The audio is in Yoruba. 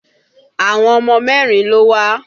Àwọn ọmọ mẹ́rin ló wá